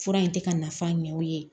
Fura in tɛ ka nafa ɲɛ u ye